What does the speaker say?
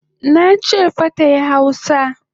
Nache fa tayi hausa!